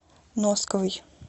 носковой